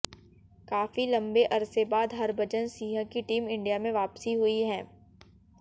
काफी लंबे अरसे बाद हरभजन सिंह की टीम इंडिया में वापसी हुई है